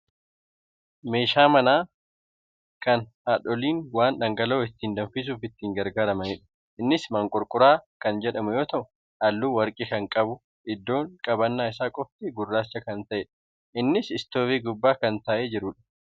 Meeshaa manaa kan haadholiin waan dhangala'oo ittiin danfisuuf itti gargaaramanidha. Innis maanqorqoraa kan jedhamu yoo ta'u, haalluu warqii kan qabu iddoon qabannaan isaa qofti gurraacha kan ta'edha. Innis istoovii gubbaa kan taa'ee jirudha.